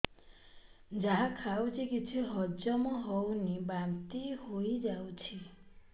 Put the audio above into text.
ଯାହା ଖାଉଛି କିଛି ହଜମ ହେଉନି ବାନ୍ତି ହୋଇଯାଉଛି